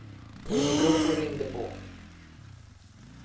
Hon gick upp och ringde på.